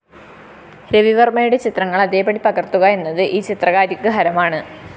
രവിവര്‍മ്മയുടെ ചിത്രങ്ങള്‍ അതേപടി പകര്‍ത്തുക എന്നത്‌ ഈ ചിത്രകാരിക്ക്‌ ഹരമാണ്‌